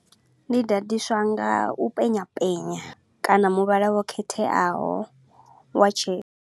Ndi ḓaḓiswa nga u penya penya kana muvhala wo khetheaho wa tshe.